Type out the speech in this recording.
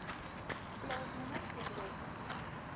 plaasnommer gedeelte